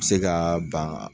Bi se kaa ban